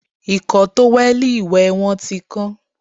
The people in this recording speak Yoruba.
Ìkọ́ tówẹ̀lì ìwẹ̀ wọn tí kán